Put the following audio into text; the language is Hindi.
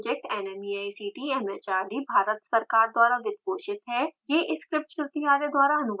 spoken tutorial project nmeict mhrd Bharat सरकार द्वारा वित्त पोषित है